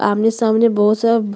आमने सामने बोहोत सब --